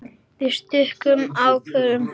Við stukkum hálfa leið.